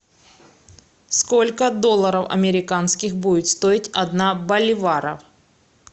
сколько долларов американских будет стоить одна боливара